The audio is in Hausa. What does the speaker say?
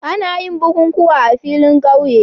Ana yin bukukuwa a filin ƙauye